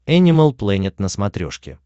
энимал плэнет на смотрешке